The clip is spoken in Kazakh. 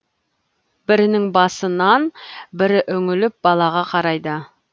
бірінің басынан бірі үңіліп балаға қарайды